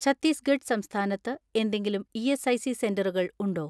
ഛത്തീസ്ഗഡ് സംസ്ഥാനത്ത് എന്തെങ്കിലും ഇ.എസ്.ഐ.സി സെന്ററുകൾ ഉണ്ടോ?